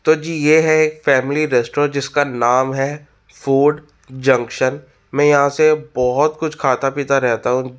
तो जी ये है एक फॅमिली रेटरोरन्ट जिसका नाम है फूड जंक्शन मे यहा से बहुत कुछ खाता पीता रहता हूँ।